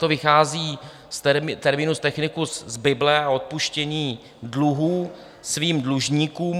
To vychází terminus technicus z bible a odpuštění dluhů svým dlužníkům.